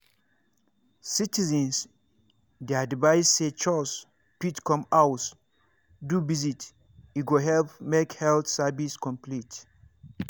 citizens dey advised say chws fit come house do visit e go help make health service complete.